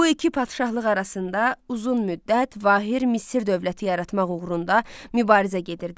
Bu iki padşahlıq arasında uzun müddət vahid Misir dövləti yaratmaq uğrunda mübarizə gedirdi.